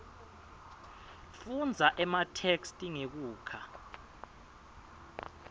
fundza ematheksthi ngekukha